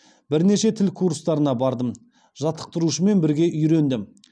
бірнеше тіл курстарына бардым жаттықтырушымен бірге үйрендім